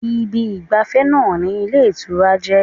Ibi ìgbàfẹ́ náà ni ilé ìtura jẹ́